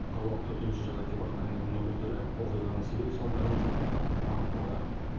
қалалық төтенше жағдай департаментінің өкілдері оқиғаның себеп салдарын сараптап анықтауда